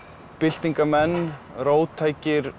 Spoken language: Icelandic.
byltingarmenn róttækir